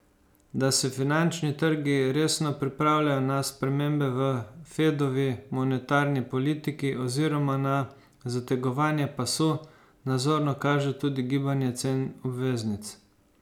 Da se finančni trgi resno pripravljajo na spremembe v Fedovi monetarni politiki oziroma na zategovanje pasu, nazorno kaže tudi gibanje cen obveznic.